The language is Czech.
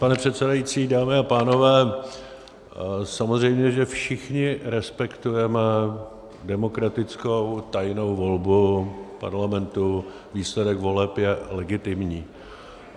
Pane předsedající, dámy a pánové, samozřejmě že všichni respektujeme demokratickou tajnou volbu parlamentu, výsledek voleb je legitimní.